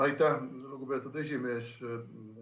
Aitäh, lugupeetud esimees!